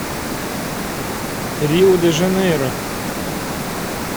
рио де жанейро